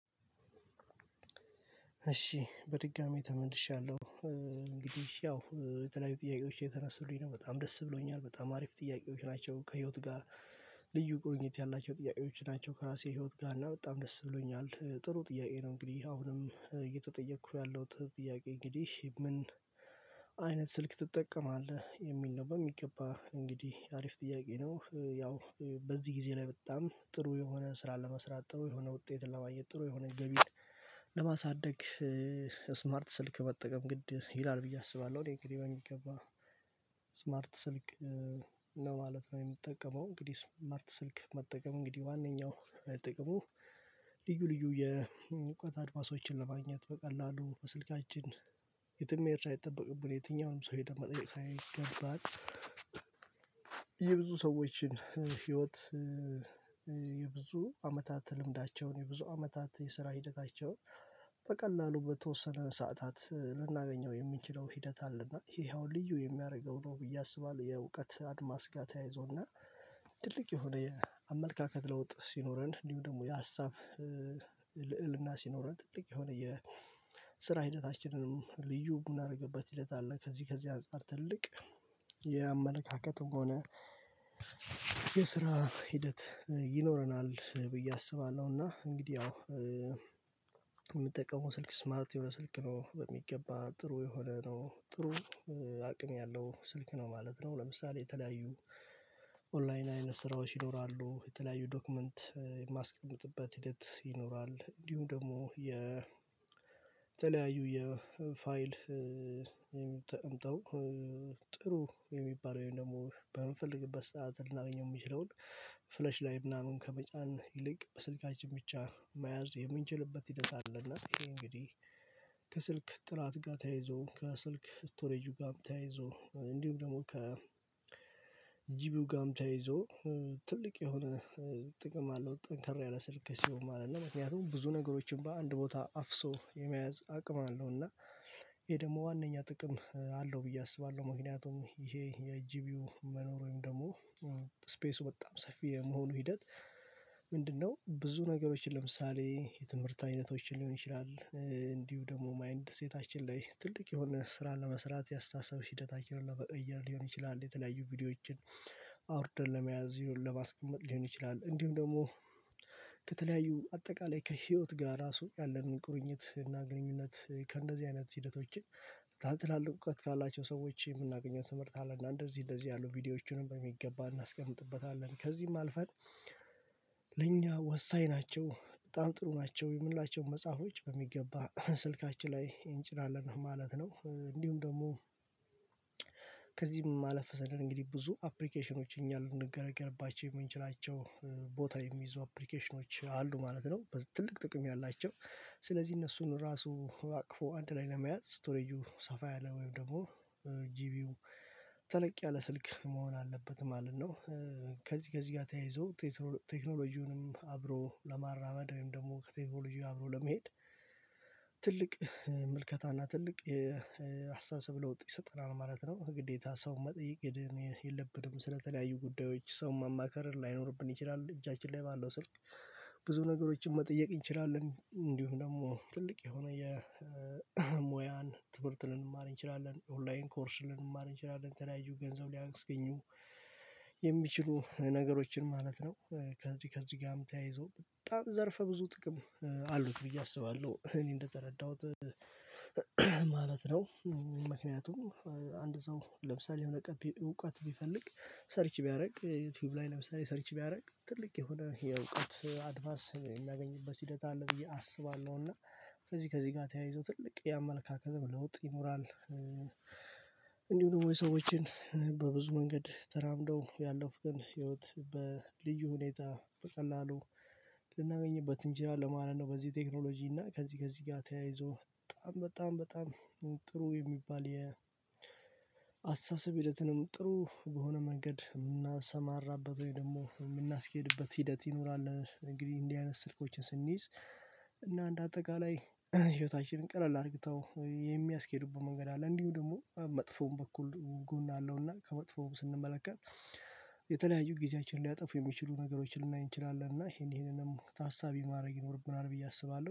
እሺ በድጋሚ ተመልሻለሁ እንግዲህ ያው የተለያዩ ጥያቄዎች እየተነሱልኝ ነው በጣም ደስ ብሎኛል በጣም አሪፍ ጥያቄዎች ናቸው ከህይወት ጋር። ልዩ ቁርኝት ያላቸው ጥያቄዎች ናቸው። ከራሴ ህይወት ጋር እና በጣም ደስ ብሎኛል ጥሩ ጥያቄ ነው። እንግዲህ አሁንም እየተጠየኩ ያለሁት ጥያቄ እንግዲህ ምን አይነት ስልክ ትጠቀማለህ የሚል ነው? በሚገባ እንግዲህ አሪፍ ጥያቄ ነው። ያው በዚህ ጊዜ ላይ በጣም ጥሩ የሆነ ስራ ለመስራት ጥሩ የሆነ ውጤት ለማየት ጥሩ የሆነ ገቢ። ለማሳደግ ስማርት ስልክ መጠቀም ግድ ይላል ብዬ አስባለሁ። እኔ እንግዲህ በሚገባ ስማርት ስልክ ነው ማለት ነው። የምጠቀመው እንግዲህ ስማርት ስልክ መጠቀም እንግዲህ ዋነኛው ጥቅሙ ልዩ ልዩ የእውቀት አድማሶችን ለማግኘት በቀላሉ በስልካችን የትም መሄድ ሳይጠበቅብን የትኛውንም ሰው ሄደን መጠየቅ ሳይገባን የብዙ ሰዎችን ህይወት የብዙ አመታት ልምዳቸውን የብዙ አመታት የስራ ሂደታቸውን በቀላሉ በተወሰነ ሰዓታት ልናገኘው የምንችለው ሂደት አለ። እና ይሄ አሁን ልዩ የሚያደርገው ነው ብዬ አስባለሁ። የእውቀት አድማስ ጋር ተያይዞ እና ትልቅ የሆነ የአመለካከት ለውጥ ሲኖረን እንዲሁ ደግሞ የሀሳብ ልዕልና ሲኖረን ትልቅ የሆነ የስራ ሂደታችንንም ልዩ የምናደርግበት ሂደት አለ። ከዚህ ከዚህ አንፃር ትልቅ የአመለካከትም ሆነ የስራ ሂደት ይኖረናል ብዬ አስባለሁ። እና እንግዲህ አዎ የምጠቀመው ስልክ ስማርት የሆነ ስልክ ነው በሚገባ ጥሩ የሆነ ነው ጥሩ አቅም ያለው ስልክ ነው ማለት ነው። ለምሳሌ የተለያዩ ኦንላይን አይነት ስራዎች ይኖራሉ የተለያዩ ዶክመንት የማስቀመጥበት ሂደት ይኖራል። እንዲሁም ደግሞ የተለያዩ የፋይል የሚ ተቀምጠው ጥሩ የሚባል ወይም ደግሞ በምንፈልግበት ሰዓት ልናገኘው የምንችለውን ፍለሽ ላይ ምናምን ከመጫን ይልቅ በስልካችን ብቻ መያዝ የምንችልበት ሂደት አለ። እና ይሄ እንግዲህ ከስልክ ጥራት ጋር ተያይዞ ከስልክ ስቶሬጁ ጋር ተያይዞ እንዲሁም ደግሞ ከ ጂቢው ጋም ተያይዞ ትልቅ የሆነ ጥቅም አለው ጠንከር ያለ ስልክ ሲሆን ማለት ነው። ምክንያቱም ብዙ ነገሮችን በአንድ ቦታ አፍሶ የመያዝ አቅም አለው እና ይሄ ደግሞ ዋናኛ ጥቅም አለው ብዬ አስባለሁ። ምክንያቱም ይሄ የጂቢው መኖር ወይም ደግሞ ስፔሱ በጣም ሰፊ የመሆኑ ሂደት ምንድነው ብዙ ነገሮችን ለምሳሌ የትምህርት አይነቶችን ሊሆን ይችላል እንዲሁ ደግሞ ማይንድ ሴታችን ላይ ትልቅ የሆነ ስራ ለመስራት የአስተሳሰብ ሂደታችንን ለመቀየር ሊሆን ይችላል። የተለያዩ ቪዲዮዎችን አውርደን ለመያዝ ይሁን ለማስቀመጥ ሊሆን ይችላል። እንዲሁም ደግሞ ከተለያዩ አጠቃላይ ከህይወት ጋር ራሱ ያለንን ቁርኝት እና ግንኙነት ከእንደዚህ አይነት ሂደቶችን ታትላልቅ እውቀት ካላቸው ሰዎች የምናገኘውን ትምህርት አለ። እና እንደዚህ እንደዚህ ያሉ ቪዲዮዎቹንም በሚገባ እናስቀምጥበታለን ከዚህም አልፈን ለእኛ ወሳኝ ናቸው በጣም ጥሩ ናቸው የምንላቸውን መጽሐፎች በሚገባ ስልካችን ላይ እንጭናለን ማለት ነው። እንዲሁም ደግሞ ከዚህም ማለፍ ሰደር እንግዲህ ብዙ አፕሊኬሽኖች እኛ ልንገለገልባቸው የምንችላቸው ቦታ የሚይዙ አፕሊኬሽኖች አሉ ማለት ነው። ትልቅ ጥቅም ያላቸው ስለዚህ እነሱን ራሱ አቅፎ አንድ ላይ ለመያዝ ስቶሬጁ ሰፋ ያለ ወይም ደግሞ ጂቢው ተለቅ ያለ ስልክ መሆን አለበት ማለት ነው። ከዚህ ከዚህ ጋር ተያይዞ ቴክኖሎጂውንም አብሮ ለማራመድ ወይም ደግሞ ከቴክኖሎጂው ጋር አብሮ ለመሄድ ትልቅ ምልከታ እና ትልቅ አስተሳሰብ ለውጥ ይሰጠናል ማለት ነው። ግዴታ ሰው መጠየቅ የለብንም ስለተለያዩ ጉዳዮች ሰው ማማከር ላይኖርብን ይችላል። እጃችን ላይ ባለው ስልክ ብዙ ነገሮችን መጠየቅ እንችላለን እንዲሁ ደግሞ ትልቅ የሆነ የሙያን ትምህርት ልንማር እንችላለን ኦንላይን ኮርስ ልንማር እንችላለን የተለያዩ ገንዘብ ሊያስገኙ የሚችሉ ነገሮችን ማለት ነው። ከዚህ ከዚህ ጋርም ተያይዞ በጣም ዘርፈ ብዙ ጥቅም አሉት ብዬ አስባለሁ። እኔ እንደተረዳሁት ማለት ነው ምክንያቱም አንድ ሰው ለምሳሌ የሆነ እውቀት ቢፈልግ ሰርች ቢያደርግ ዩቲዩብ ላይ ለምሳሌ ሰርች ቢያደርግ ትልቅ የሆነ የእውቀት አድማስ የሚያገኝበት ሂደት አለ ብዬ አስባለሁና ከዚህ ከዚህ ጋር ተያይዞ ትልቅ የአመለካከትም ለውጥ ይኖራል። እንዲሁ ደግሞ የሰዎችን በብዙ መንገድ ተራምደው ያለፉትን ህይወት በልዩ ሁኔታ በቀላሉ ልናገኝበት እንችላለን ለማለት ነው። በዚህ ቴክኖሎጂ እና ከዚህ ከዚህ ጋር ተያይዞ በጣም በጣም በጣም ጥሩ የሚባል የአስተሳሰብ ሂደትንም ጥሩ በሆነ መንገድ የምናሰማራበት ወይም ደግሞ የምናስኬድበት ሂደት ይኖራል። እንግዲህ እንዲ አይነት ስልኮችን ስንይዝ እና እንደ አጠቃላይ ህይወታችንን ቀለል አድርግተው የሚያስኬዱበት መንገድ አለ እንዲሁ ደግሞ መጥፎውን በኩል ጎን አለው። እና ከመጥፎው ስንመለከት የተለያዩ ጊዜያችንን ሊያጠፉ የሚችሉ ነገሮችን ልናይ እንችላለን እና ይሄን ይሄንንም ታሳቢ ማድረግ ይኖርብናል ብዬ አስባለሁ